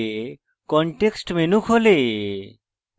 context menu খোলে